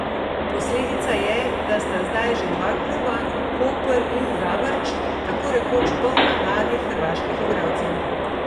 Posledica je, da sta zdaj že dva kluba, Koper in Zavrč, tako rekoč polna mladih hrvaških igralcev.